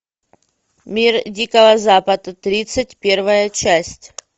мир дикого запада тридцать первая часть